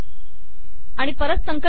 आणि परत संकलित करू